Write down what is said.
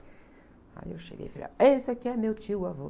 Aí eu cheguei e falei, ah, esse aqui é meu tio avô.